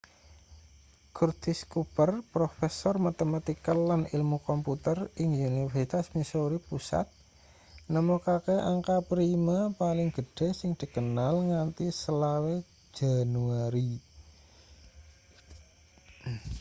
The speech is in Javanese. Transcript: curtis cooper profesor matematika lan ilmu komputer ing universitas missouri pusat nemokake angka prima paling gedhe sing dikenal nganti 25 januari